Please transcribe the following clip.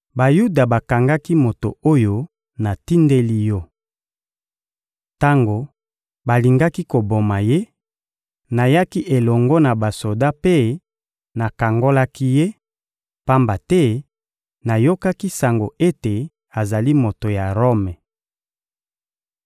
Bayuda bakangaki moto oyo natindeli yo. Tango balingaki koboma ye, nayaki elongo na basoda mpe nakangolaki ye, pamba te nayokaki sango ete azali moto ya Rome.